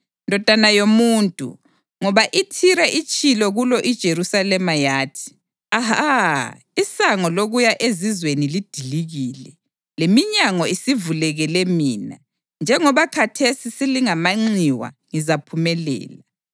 “Ndodana yomuntu, ngoba iThire itshilo kulo iJerusalema yathi, ‘Aha!’ Isango lokuya ezizweni lidilikile, leminyango isivulekele mina; njengoba khathesi selingamanxiwa ngizaphumelela,